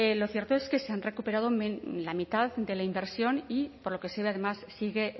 lo cierto es que se han recuperado la mitad de la inversión y por lo que se ve además sigue